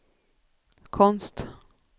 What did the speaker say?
konst